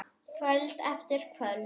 Kvöld eftir kvöld.